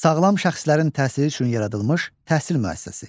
Sağlam şəxslərin təhsili üçün yaradılmış təhsil müəssisəsi.